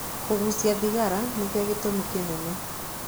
Kũgucia thigara nĩkĩo gĩtumi kĩnene.